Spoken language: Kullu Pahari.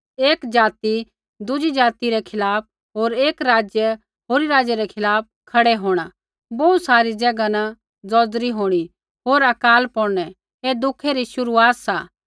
एकी ज़ाति दुज़ी ज़ाति रै खिलाफ़ होर एकी राज्य होरी राज्य रै खिलाफ़ खड़ै होंणा बोहू सारी ज़ैगा न ज़ौज़री होंणी होर अकाल पौड़नै ऐ दुखै री शुरूआत सा